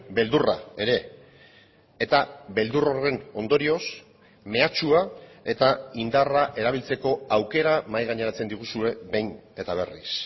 beldurra ere eta beldur horren ondorioz mehatxua eta indarra erabiltzeko aukera mahai gaineratzen diguzue behin eta berriz